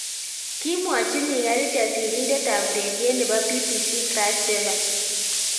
Kimwochi Micah Richards sirindetab ureriet nebo BBC Chris Bevan